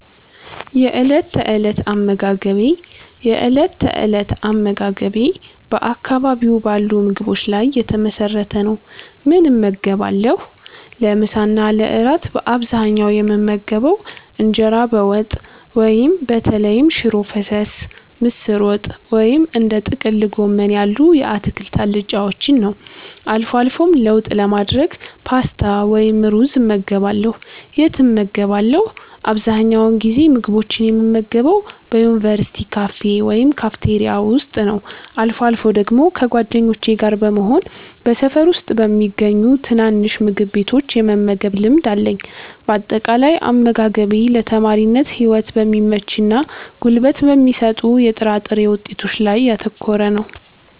የእለት ተእለት አመጋገቤ የእለት ተእለት አመጋገቤ በአካባቢው ባሉ ምግቦች ላይ የተመሰረተ ነው፦ ምን እመገባለሁ? ለምሳ እና ለእራት በአብዛኛው የምመገበው እንጀራ በወጥ (በተለይም ሽሮ ፈሰስ፣ ምስር ወጥ ወይም እንደ ጥቅል ጎመን ያሉ የአትክልት አልጫዎችን) ነው። አልፎ አልፎም ለውጥ ለማድረግ ፓስታ ወይም ሩዝ እመገባለሁ። የት እመገባለሁ? አብዛኛውን ጊዜ ምግቦችን የምመገበው በዩኒቨርሲቲ ካፌ ወይም ካፍቴሪያ ውስጥ ነው። አልፎ አልፎ ደግሞ ከጓደኞቼ ጋር በመሆን በሰፈር ውስጥ በሚገኙ ትናንሽ ምግብ ቤቶች የመመገብ ልማድ አለኝ። ባጠቃላይ፦ አመጋገቤ ለተማሪነት ህይወት በሚመችና ጉልበት በሚሰጡ የጥራጥሬ ውጤቶች ላይ ያተኮረ ነው።